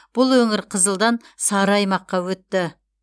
бұл өңір қызылдан сары аймаққа өтті